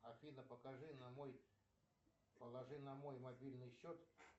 афина покажи на мой положи на мой мобильный счет